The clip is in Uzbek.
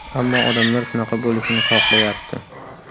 Ammo odamlar shunaqa bo‘lishini xohlayapti.